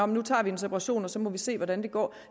nu tager vi en separation og så må vi se hvordan det går